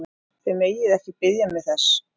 Þið megið ekki biðja mig þess!